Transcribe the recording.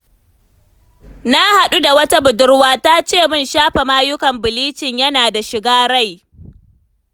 Na haɗu da wata budurwa da ta ce min shafa mayukan bilicin yana da shiga rai.